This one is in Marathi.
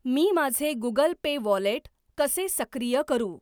मी माझे गुगल पे वॉलेट कसे सक्रिय करू?